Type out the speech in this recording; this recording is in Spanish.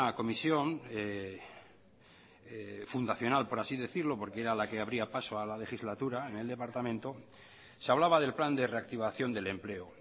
comisión fundacional por así decirlo porque era la que abría paso a la legislatura en el departamento se hablaba del plan de reactivación del empleo